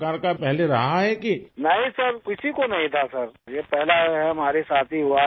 راجیش پرجاپتی نہیں سر، کسی کو نہیں تھاسر، یہ پہلا ہمارے ساتھ ہی ہوا ہے